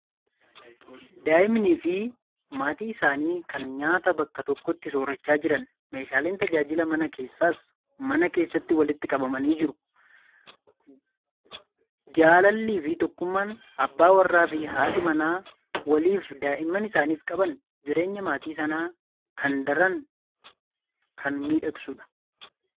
Daa'immanii fi maatii isaanii kan nyaata bakka tokkotti soorachaa jiran. Meeshaaleen tajaajila mana keessaas mana keessatti walitti qabamanii jiru. Jaalallii fi tokkummaan abbaan warraa fi haati manaa waliifi daa'imman isaaniif qaban jireenya maatii sanaa kan daran kan miidhagsudha.